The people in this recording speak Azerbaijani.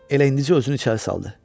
Elə indicə özünü içəri saldı.